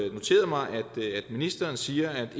ministeren siger at